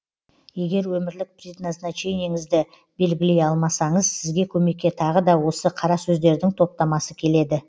егер өмірлік предназначениеңізді белгілей алмасаңыз сізге көмекке тағы да осы қара сөздердің топтамасы келеді